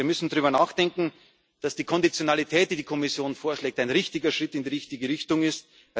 Wir müssen darüber nachdenken, dass die Konditionalität, die die Kommission vorschlägt, ein richtiger Schritt in die richtige Richtung